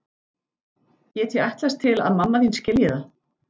Get ég ætlast til að mamma þín skilji það?